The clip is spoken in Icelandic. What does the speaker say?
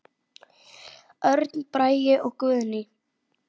Örn Bragi og Guðný.